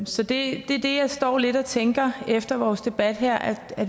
så det er det jeg står lidt tænker efter vores debat her at